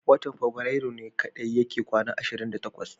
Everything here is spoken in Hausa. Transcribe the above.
Watan fabirairu ne kadai yake kwana 28.